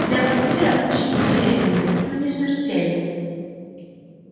для вампира очень болезненно но не смертельно